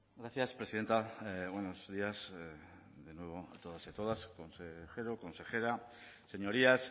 gracias presidenta buenos días de nuevo a todos y todas consejero consejera señorías